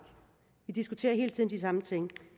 vi diskuterer hele tiden de samme ting